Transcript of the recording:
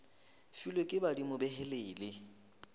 filwe ke badimo be helele